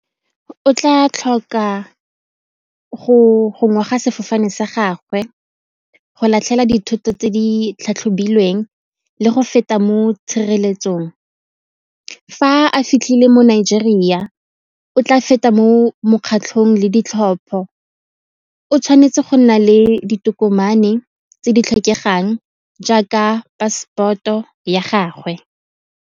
O tla tlhoka go sefofane sa gagwe, go latlhela dithoto tse di tlhatlhobilweng le go feta mo tshireletsong. Fa a fitlhile mo Nigeria o tla feta mo mokgatlhong le ditlhopho, o tshwanetse go nna le ditokomane tse di tlhokegang jaaka passport-o ya gagwe.